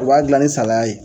A b'a dilan ni salaya ye